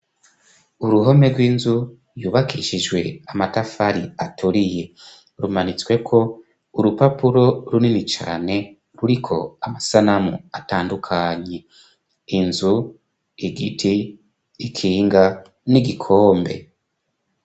Uruhome rw'inzu yubakishijwe amatafari aturiye, rumanitsweko urupapuro runini cane ruriko amasanamu atandukanye inzu ,igiti, ikinga n'igikombe.